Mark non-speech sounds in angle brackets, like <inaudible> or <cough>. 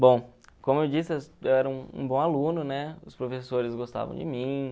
Bom, como eu disse, <unintelligible> eu era um um bom aluno, né, os professores gostavam de mim.